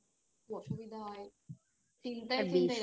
খুব অসুবিধা হয় চিন্তায় চিন্তায়